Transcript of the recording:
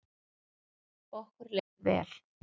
Okkur leið vel.